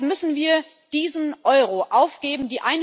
Deshalb müssen wir diesen Euro aufgeben.